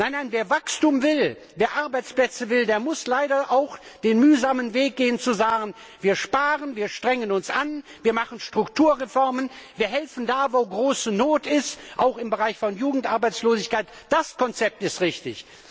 Nein, wer Wachstum und Arbeitsplätze will, der muss leider auch den mühsamen Weg gehen, zu sagen Wir sparen, wir strengen uns an, wir machen Strukturreformen, wir helfen da, wo große Not ist, auch im Bereich von Jugendarbeitslosigkeit das Konzept ist richtig!